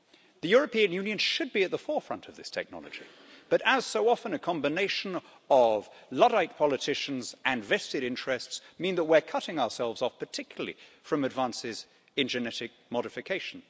The European Union should be at the forefront of this technology, but as so often a combination of luddite politicians and vested interests mean that we're cutting ourselves off, particularly from advances in genetic modification.